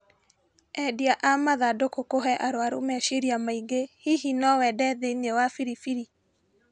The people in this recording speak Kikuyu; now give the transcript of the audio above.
Endia a mathandũkũ kũhe arũarũ meciria maingĩ hihi no wende thĩinĩ wa biribiri?